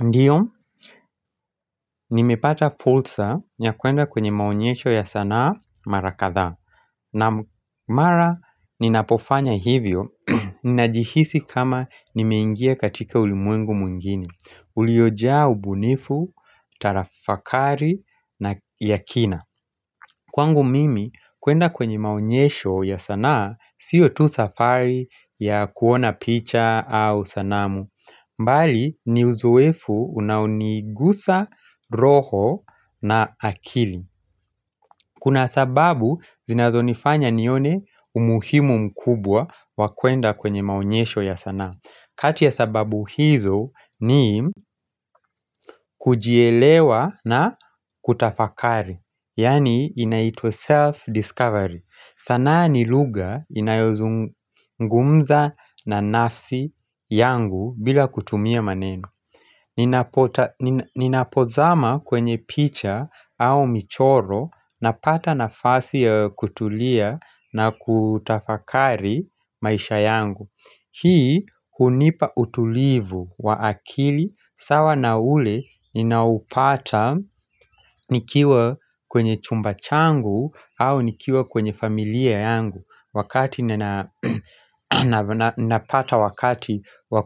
Ndiyo, nimepata fursa ya kuenda kwenye maonyesho ya sanaa mara kadhaa. Na mara, ninapofanya hivyo, ninajihisi kama nimeingia katika ulimwengu mwingine. Uliojaa ubunifu, tafakari na ya kina. Kwangu mimi, kuenda kwenye maonyesho ya sanaa, sio tu safari ya kuona picha au sanamu. Mbali ni uzoefu unaonigusa roho na akili Kuna sababu zinazonifanya nione umuhimu mkubwa wa kuenda kwenye maonyesho ya sanaa kati ya sababu hizo ni kujielewa na kutafakari yani inaitwa self-discovery sanaa ni lugha inayozungumza na nafsi yangu bila kutumia maneno Ninapozama kwenye picha au michoro napata nafasi ya kutulia na kutafakari maisha yangu Hii hunipa utulivu wa akili sawa na ule ninaupata nikiwa kwenye chumba changu au nikiwa kwenye familia yangu wakati nina napata wakati wa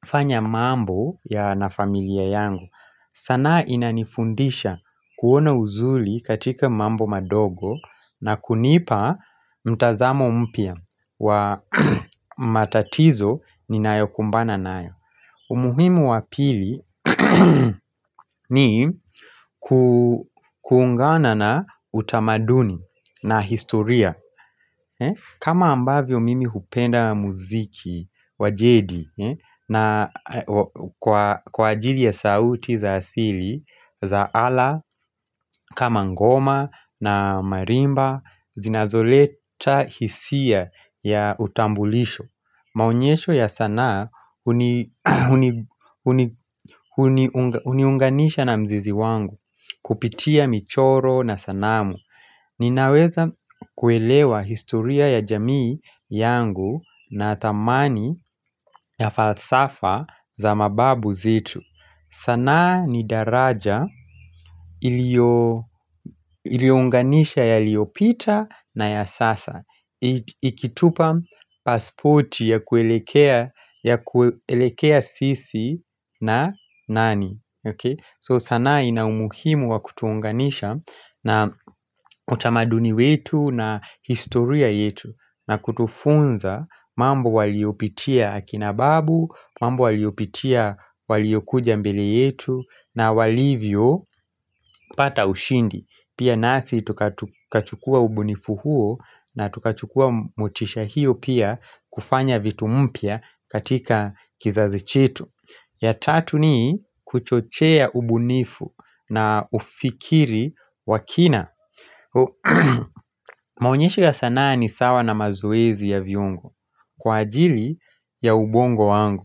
kufanya mambo ya na familia yangu sanaa inanifundisha kuona uzuri katika mambo madogo na kunipa mtazamo mpya wa matatizo ninayokumbana nayo umuhimu wa pili ni kuungana na utamaduni na historia kama ambavyo mimi hupenda muziki wa jedi na kwa ajili ya sauti za asili za alaa, kama ngoma na marimba, zinazoleta hisia ya utambulisho Maonyesho ya sanaa huni huniunganisha na mzizi wangu, kupitia michoro na sanamu Ninaweza kuelewa historia ya jamii yangu na thamani ya falsafa za mababu zetu sanaa ni daraja iliounganisha yaliopita na ya sasa Ikitupa passporti ya kuelekea ya kuelekea sisi na nani okay so sanaa ina umuhimu wa kutu unganisha na utamaduni wetu na historia yetu na kutufunza mambo waliopitia akina babu, mambo waliopitia waliokuja mbele yetu na walivyopata ushindi. Pia nasi tukachukua ubunifu huo na tukachukua motisha hiyo pia kufanya vitu mpya katika kizazi chetu. Ya tatu ni kuchochea ubunifu na ufikiri wa kina Maonyesho ya sanaa ni sawa na mazoezi ya viungo Kwa ajili ya ubongo wangu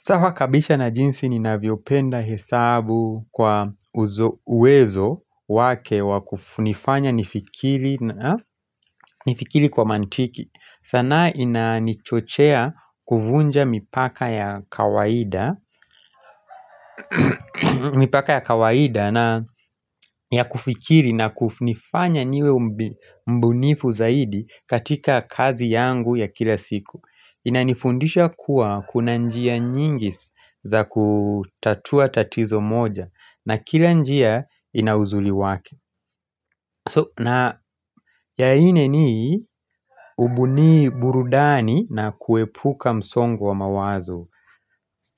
sawa kabisa na jinsi ninavyopenda hesabu kwa uwezo wake wakufunifanya nifikiri nifikiri kwa mantiki sanaa inanichochea kuvunja mipaka ya kawaida mipaka ya kawaida na ya kufikiri na kunifanya niwe mbunifu zaidi katika kazi yangu ya kila siku inanifundisha kuwa kuna njia nyingi za kutatua tatizo moja na kila njia ina uzuri wake So na ya ingine ubuni burudani na kuepuka msongo wa mawazo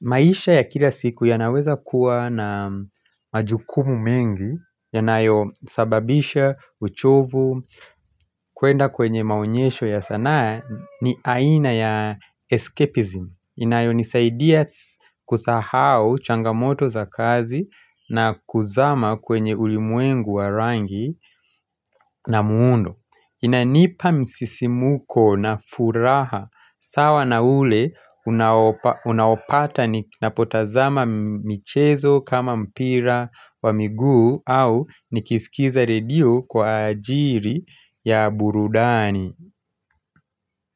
maisha ya kila siku yanaweza kuwa na majukumu mengi yanayosababisha uchovu kuenda kwenye maonyesho ya sanaa ni aina ya escapism inayonisaidia kusahau changamoto za kazi na kuzama kwenye ulimwengu wa rangi na muundo inanipa msisimuko na furaha sawa na ule unao unaopata ninapotazama michezo kama mpira wa miguu au nikisikiza redio kwa ajili ya burudani.